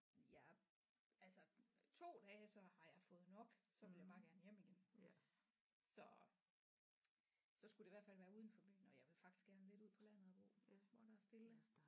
Jeg altså 2 dage så har jeg fået nok så vil jeg bare gerne hjem igen så så skulle det i hvert fald være uden for byen og jeg vil faktisk godt lidt ud på landet at bo hvor der er stille